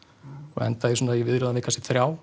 og endar í viðræðum við kannski þrjá